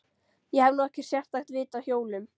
Ég hef nú ekkert sérstakt vit á hjólum.